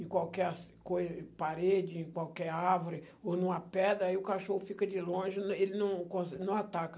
em qualquer parede, em qualquer árvore ou numa pedra, aí o cachorro fica de longe, ele não conse não ataca.